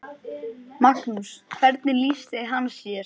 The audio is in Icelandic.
Magnús: Hvernig lýsti hann sér?